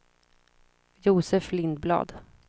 Josef Lindblad